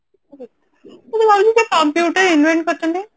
computer invent କରିଛନ୍ତି